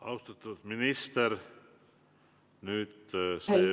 Austatud minister!